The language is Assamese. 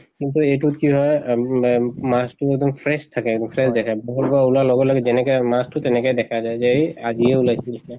এইটোত কি হয় এহ মম মাছ টো এক্দম fresh থাকে fresh দেখে পুখুৰীৰ পৰা উলোৱাৰ লগে লগে যেনেকে মাছ টো তেনেকা দেখা যায় যে আজিয়ে উলিয়াইছে নিছিনা।